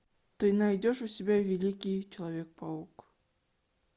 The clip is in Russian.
ты найдешь у себя великий человек паук